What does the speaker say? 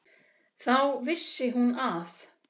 Þá vissi hún að